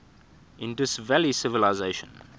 indus valley civilisation